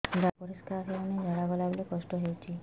ଝାଡା ପରିସ୍କାର ହେଉନି ଝାଡ଼ା ଗଲା ବେଳେ କଷ୍ଟ ହେଉଚି